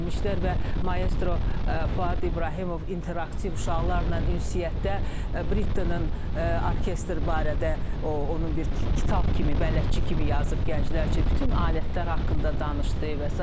Və maestro Fuad İbrahimov interaktiv uşaqlarla ünsiyyətdə Britanın orkestr barədə onun bir kitab kimi, bələdçi kimi yazıb gənclər üçün, bütün alətlər haqqında danışdı və sair.